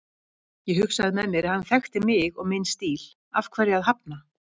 Ég hugsaði með mér að hann þekkti mig og minn stíl, af hverju að hafna?